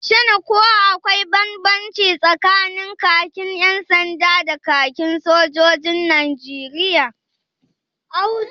Shin ko akwai banbanci tsakanin kakin 'yan sanda da kakin sojojin Najeriya?